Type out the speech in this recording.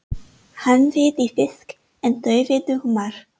Hann veiddi fisk en þau veiddu humar.